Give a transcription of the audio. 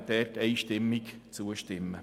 Wir werden einstimmig zustimmen.